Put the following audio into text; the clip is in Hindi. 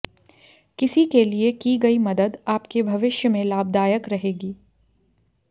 किसी के लिए की गई मदद आपके भविष्य में लाभदायक रहेगी